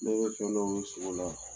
Ne bɛ fɛn dɔ ye sogo la